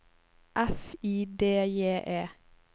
F I D J E